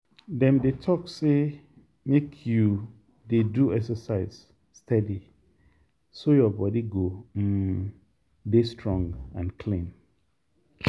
dem dey talk say make you dey do exercise steady so your body go um dey strong and clean.